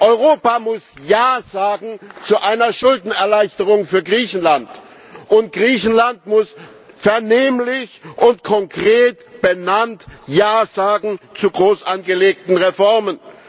Europa muss Ja sagen zu einer Schuldenerleichterung für Griechenland, und Griechenland muss vernehmlich und konkret benannt Ja sagen zu groß angelegten Reformen.